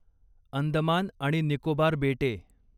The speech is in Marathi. अंदमान आणि निकोबार बेटे